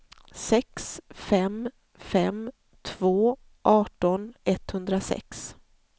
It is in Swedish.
sex fem fem två arton etthundrasex